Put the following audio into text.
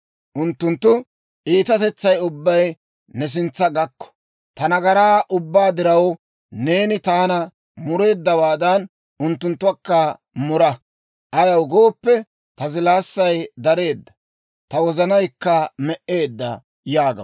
Unttunttu iitatetsay ubbay ne sintsa gakko; ta nagaraa ubbaa diraw, neeni taana mureeddawaadan, unttunttakka mura! Ayaw gooppe, ta zilaassay dareedda; ta wozanaykka me"eedda» yaagaw.